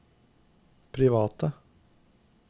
private